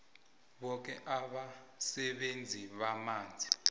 boke abasebenzisi bamanzi